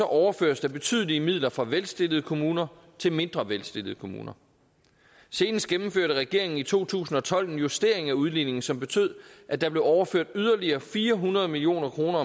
overføres der betydelige midler fra velstillede kommuner til mindre velstillede kommuner senest gennemførte regeringen i to tusind og tolv en justering af udligningen som betød at der blev overført yderligere omtrent fire hundrede million kroner